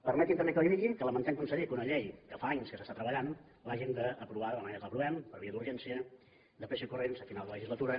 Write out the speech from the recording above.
permeti’m també que li digui que lamentem conseller que una llei que fa anys que s’està treballant l’hàgim d’aprovar de la manera que l’aprovem per via d’urgència de pressa i corrents a final de legislatura